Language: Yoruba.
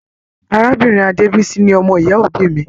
Arábìnrin Adebisi ni ọmọ ìyá òbí mí.